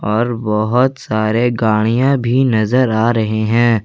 और बहुत सारे गाड़ियां भी नजर आ रहे हैं।